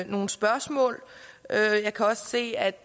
nogle spørgsmål jeg kan også se at